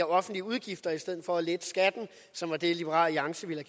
offentlige udgifter i stedet for at lette skatten som var det liberal alliance ville